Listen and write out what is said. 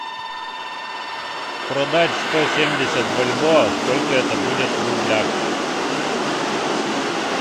продать сто семьдесят бальбоа сколько это будет в рублях